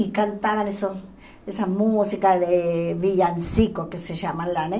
E cantavam essa essa música de Villancico, que se chama lá, né?